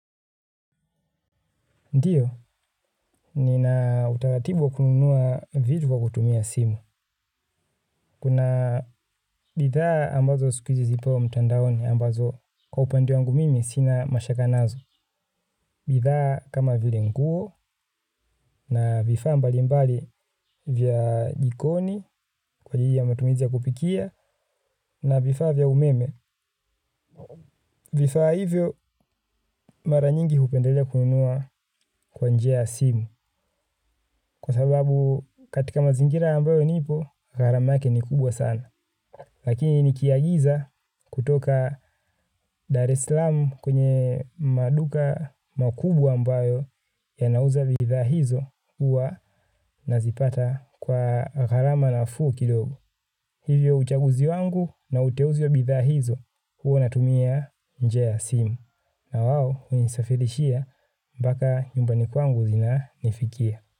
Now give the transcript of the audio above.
Ndiyo, nina utaratibu wa kununua vitu kwa kutumia simu. Kuna bidhaa ambazo siku hizi zipo mtandaoni ambazo kwa upande wangu mimi sina mashaka nazo. Bidhaa kama vile nguo na vifaa mbalimbali vya jikoni kwa ajili ya matumizi ya kupikia na vifaa vya umeme. Vifaa hivyo mara nyingi hupendelea kununua kwa njia ya simu. Kwa sababu katika mazingira ambayo nipo, gharama yake ni kubwa sana. Lakini nikiagiza kutoka Dar es Salaam kwenye maduka makubwa ambayo yanauza bidhaa hizo huwa nazipata kwa gharama nafuu kidogo. Hivyo uchaguzi wangu na uteuzi wa bidhaa hizo huwa natumia njia ya simu. Na wao hunisafirishia mpaka nyumbani kwangu zinanifikia.